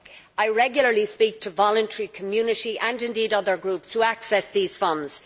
I regularly speak to voluntary, community, and other groups who access these funds.